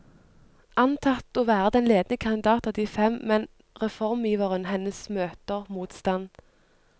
Antatt å være den ledende kandidat av de fem, men reformiveren hennes møter motstand.